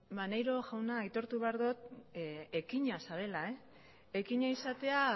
maneiro jauna aitortu behar dot ekina zarela ekina izatea